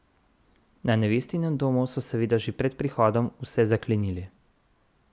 Na nevestinem domu so seveda že pred prihodom vse zaklenili.